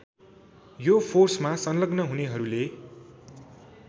यो फोर्समा सङ्लग्न हुनेहरूले